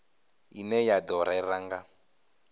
ine ya do rera nga